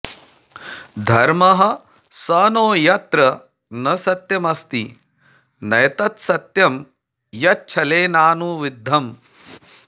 धर्मः स नो यत्र न सत्यमस्ति नैतत्सत्यं यच्छलेनानुविद्धम्